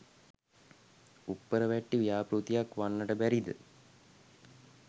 උප්පරවැට්ටි ව්‍යාපෘතියක් වන්නට බැරිද?